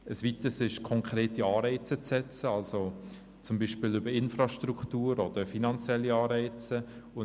Ein weiteres ist das Setzen konkreter Anreize, zum Beispiel über die Infrastruktur oder über die Finanzen.